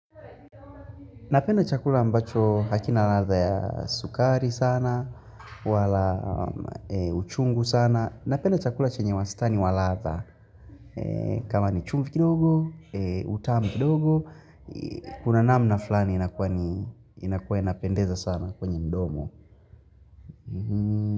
Napenda chakula ambacho hakina ladha ya sukari sana, wala uchungu sana. Napenda chakula chenye wastani wa ladha. Kama ni chumvi kidogo, utamu kidogo, kuna namna fulani inakua inapendeza sana kwenye mdomo.